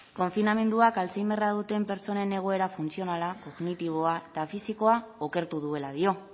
konfinamenduak alzheimerra duten pertsonen egoera funtzionala kognitiboa eta fisikoa okertu duela dio